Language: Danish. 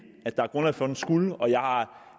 at der er grundlag for at det skulle og jeg